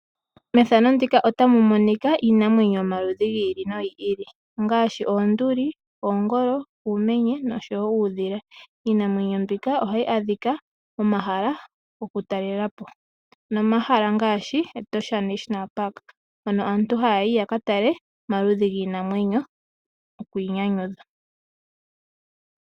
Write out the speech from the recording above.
Iinamwenyo yomaludhi gi ili nogi ili ohayi adhika momahala gokutalelapo ngaashi Etosha national park mono aantu haya yi yakatale iinamwenyo nokwiinyanyudha.